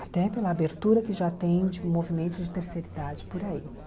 Até pela abertura que já tem de movimentos de terceira idade por aí.